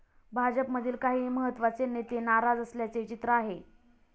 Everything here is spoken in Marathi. भाजपमधील काही महत्त्वाचे नेते नाराज असल्याचे चित्र आहे.